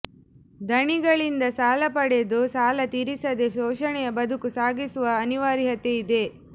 ಧಣಿಗಳಿಂದ ಸಾಲ ಪಡೆದು ಸಾಲ ತೀರಿಸದೇ ಶೋಷಣೆಯ ಬದುಕು ಸಾಗಿಸುವ ಅನಿವಾರ್ಯತೆ ಇದೆ